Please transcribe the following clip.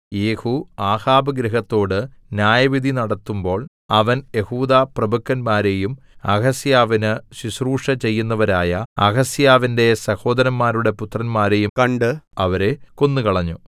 യേഹൂ ആഹാബ് ഗൃഹത്തോട് ന്യായവിധി നടത്തുമ്പോൾ അവൻ യെഹൂദാപ്രഭുക്കന്മാരെയും അഹസ്യാവിന് ശുശ്രൂഷ ചെയ്യുന്നവരായ അഹസ്യാവിന്റെ സഹോദരന്മാരുടെ പുത്രന്മാരെയും കണ്ട് അവരെ കൊന്നുകളഞ്ഞു